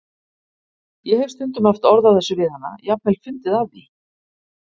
Ég hef stundum haft orð á þessu við hana, jafnvel fundið að því.